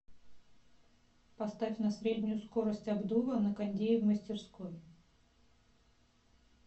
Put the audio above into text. поставь на среднюю скорость обдува на кондее в мастерской